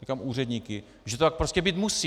Říkám úředníky - že to tak prostě být musí!